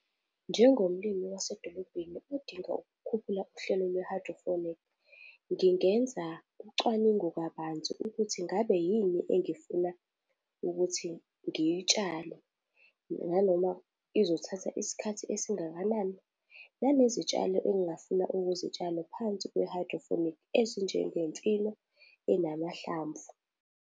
Njengomlimi wasedolobheni odinga ukukhuphula uhlelo lwe-hydroponic, ngingenza ucwaningo kabanzi ukuthi ingabe yini engifuna ukuthi ngiyitshale nanoma izothatha isikhathi esingakanani, nanezitshalo engingafuna ukuzitshala phansi kwe-hydroponic ezinjenge mfino enamahlamvu.